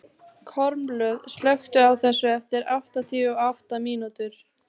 Kormlöð, slökktu á þessu eftir áttatíu og átta mínútur.